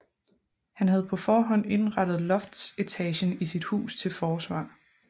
Han havde på forhånd indrettet loftsetagen i sit hus til forsvar